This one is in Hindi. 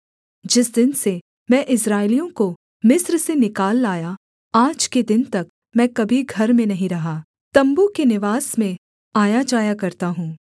जिस दिन से मैं इस्राएलियों को मिस्र से निकाल लाया आज के दिन तक मैं कभी घर में नहीं रहा तम्बू के निवास में आयाजाया करता हूँ